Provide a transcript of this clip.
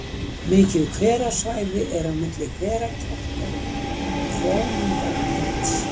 Mikið hverasvæði er milli Hverakjálka og Hrómundartinds.